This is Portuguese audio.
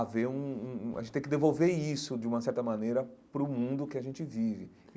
Haver hum hum hum a gente tem que devolver isso, de uma certa maneira, para o mundo que a gente vive.